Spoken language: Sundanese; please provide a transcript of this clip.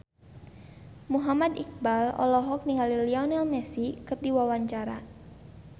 Muhammad Iqbal olohok ningali Lionel Messi keur diwawancara